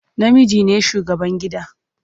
Namiji ne shugaban gida.